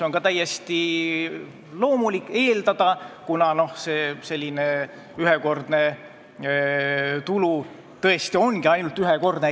On ka täiesti loomulik eeldada, et see raha sinna suunatakse, kuna selline tulu on tõesti ühekordne.